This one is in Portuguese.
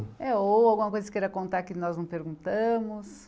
É, ou alguma coisa que você queira contar que nós não perguntamos.